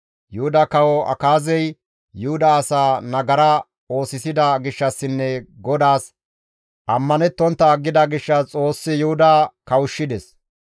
Yuhuda kawo Akaazey Yuhuda asaa nagara oosisida gishshassinne GODAAS ammanettontta aggida gishshas Xoossi Yuhuda kawushshides.